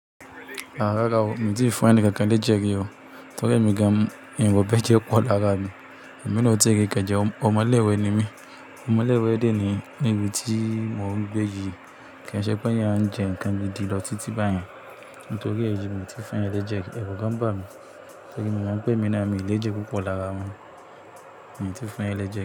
Rárá o, mi ò tíì fún ẹni kankan léje rí o, torí emi gan miro bẹ́jẹ pọ̀ lára mi. Ẹ̀mí ni ó ti rí nkan jẹ, ọmọ ilẹ́ẹ̀wẹ́ ni mí. Ọmọ ilé-ìwé dé nìyẹn níbi tí mò ń gbé yìí. Kì í ṣe pé a ń jẹ nǹkan gidi lọ títí báyẹn, nítorí èyí mi ò tí fún eeyan léje. Ẹru gan bà mí, torí mo mọ̀ pé èmi ni mi léje púpọ̀ lára mọ. Mi tí fún èèyàn léje.